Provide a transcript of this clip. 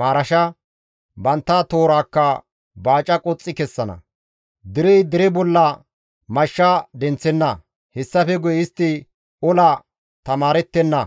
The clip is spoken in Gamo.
maarasha, bantta toorakka baaca qoxxi kessana. Derey dere bolla mashsha denththenna; hessafe guye istti ola tamaarettenna.